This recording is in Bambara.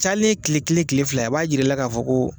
cayalen ye kile kelen kile fila a b'a yira i la k'a fɔ ko